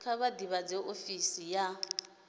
kha vha ḓivhadze ofisi ya